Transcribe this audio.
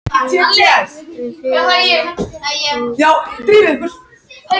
Fiðlan tók að gegna æ stærra hlutverki, bæði sem einleikshljóðfæri og í samleik.